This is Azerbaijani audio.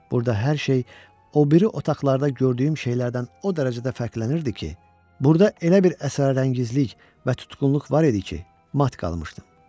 Burada hər şey o biri otaqlarda gördüyüm şeylərdən o dərəcədə fərqlənirdi ki, burada elə bir əsrarəngizlik və tutqunluq var idi ki, mat qalmışdım.